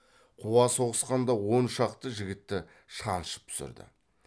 қуа соғысқанда он шақты жігітті шаншып түсірді